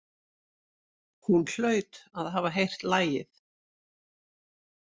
Hún hlaut að hafa heyrt lagið.